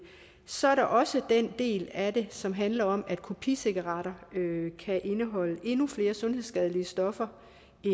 så er der også den del af det som handler om at kopicigaretter kan indeholde endnu flere sundhedsskadelige stoffer